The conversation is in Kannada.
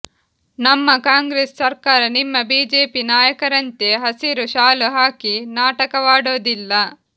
ನಮ್ಮ ಕಾಂಗ್ರೆಸ್ ಸರ್ಕಾರ ನಿಮ್ಮ ಬಿಜೆಪಿ ನಾಯಕರಂತೆ ಹಸಿರು ಶಾಲು ಹಾಕಿ ನಾಟಕವಾಡೋದಿಲ್ಲ